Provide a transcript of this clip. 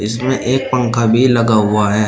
इसमें एक पंखा भी लगा हुआ है।